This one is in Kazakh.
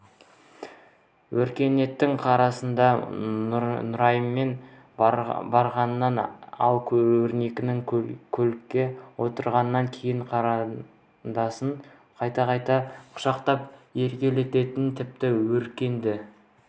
өркеннің қарындасы нұраймен барғанын ал өркен көлікке отырғаннан кейін қарындасын қайта-қайта құшақтап еркелеткенін тіпті өркенді